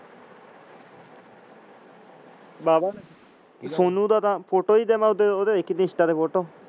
ਸੋਨੂ ਦਾ ਤਾਂ photo ਹੀ ਜਮਾ ਦੇਖੀ ਮੈਂ insta ਤੇ photo.